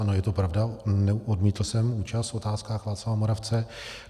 Ano, je to pravda, odmítl jsem účast v Otázkách Václava Moravce.